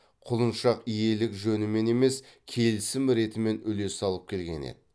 құлыншақ иелік жөнімен емес келісім ретімен үлес алып келген еді